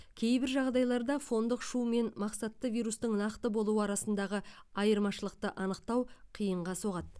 кейбір жағдайларда фондық шу мен мақсатты вирустың нақты болуы арасындағы айырмашылықты анықтау қиынға соғады